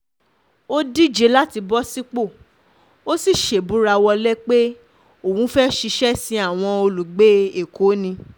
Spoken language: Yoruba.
ó díje láti bọ́ sípò ó sì ṣèbùrà-wọ̀lẹ̀ pé òun fẹ́ẹ́ ṣiṣẹ́ sin àwọn olùgbé èkó ni